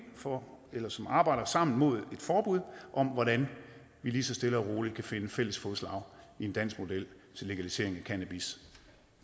for eller som arbejder sammen mod et forbud om hvordan vi lige så stille og roligt kan finde fælles fodslag i en dansk model til legalisering af cannabis